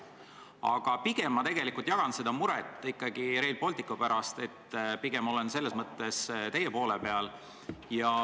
Aga mina pigem ikkagi jagan seda muret Rail Balticu pärast ja olen selles mõttes teie poolel.